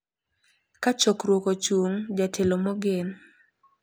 Ka chokruok ochung’, jatelo mogen,